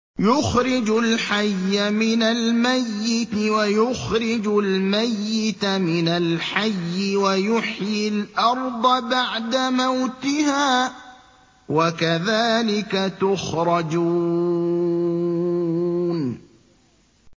يُخْرِجُ الْحَيَّ مِنَ الْمَيِّتِ وَيُخْرِجُ الْمَيِّتَ مِنَ الْحَيِّ وَيُحْيِي الْأَرْضَ بَعْدَ مَوْتِهَا ۚ وَكَذَٰلِكَ تُخْرَجُونَ